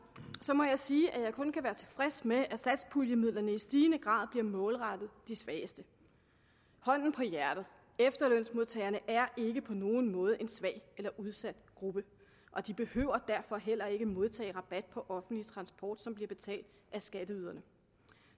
må jeg sige at jeg kun kan være tilfreds med at satspuljemidlerne i stigende grad bliver målrettet de svageste hånden på hjertet efterlønsmodtagerne er ikke på nogen måde en svag eller udsat gruppe og de behøver derfor heller ikke modtage rabat på offentlig transport som bliver betalt af skatteyderne